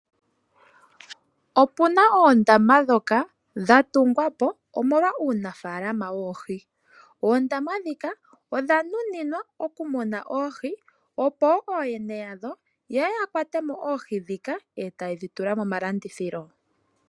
Opuna oondama ndhoka dha tungwa po, omolwa uunafaalama woohi. Oondama ndhika odha nuninwa oku muna oohi, opo ooyene yadho yeye ya kwate mo oohi ndhika e ta yedhi tula momalandithilo.